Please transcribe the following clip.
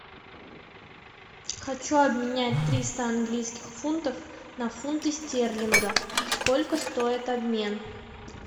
хочу обменять триста английских фунтов на фунты стерлинга сколько стоит обмен